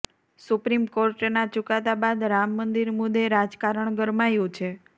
supreme કોર્ટના ચુકાદા બાદ રામ મંદિર મુદ્દે રાજકારણ ગરમાયુ છે